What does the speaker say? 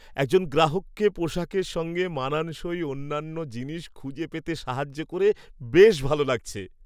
একজন গ্রাহককে পোশাকের সঙ্গে মানানসই অন্যান্য জিনিস খুঁজে পেতে সাহায্য করে বেশ ভালো লাগছে।